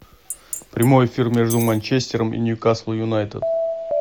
прямой эфир между манчестером и ньюкасл юнайтед